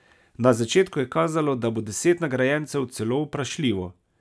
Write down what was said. Na začetku je kazalo, da bo deset nagrajencev celo vprašljivo.